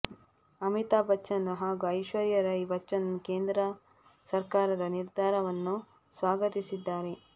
ಅಮಿತಾಬ್ ಬಚ್ಚನ್ ಹಾಗೂ ಐಶ್ವರ್ಯ ರೈ ಬಚ್ಚನ್ ಕೇಂದ್ರ ಸರ್ಕಾರದ ನಿರ್ಧಾರವನ್ನು ಸ್ವಾಗತಿಸಿದ್ದಾರೆ